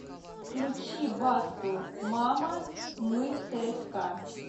включи басту мама мы цска